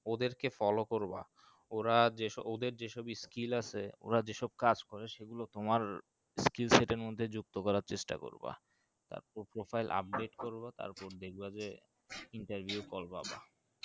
ওদের কে follow করবা ওরা জেস যেসব skill আসে ওরা যে সব কাজ করে সে গুলো তোমার skill set এর মধ্যে যুক্ত করার চেষ্টা করবা তাপর profile update করবা তারপর দেখবা যে interview এ call পাবা